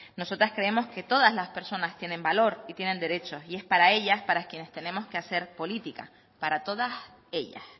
nosotras creemos que todas las personas tienen valor y tienen derechos y es para ellas para quienes tenemos que hacer política para todas ellas